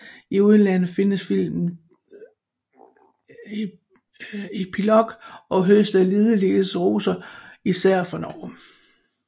I udlandet fik filmen titlen Epilogue og høstede ligeledes roser fra især Norge